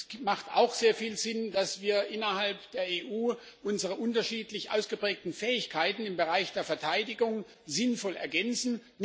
Es ergibt auch sehr viel Sinn, dass wir innerhalb der EU unsere unterschiedlich ausgeprägten Fähigkeiten im Bereich der Verteidigung sinnvoll ergänzen